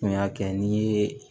N y'a kɛ n ye